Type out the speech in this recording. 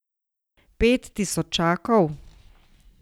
Pet tisočakov?